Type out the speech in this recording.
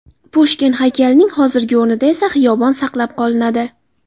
Pushkin haykalining hozirgi o‘rnida esa xiyobon saqlab qolinadi.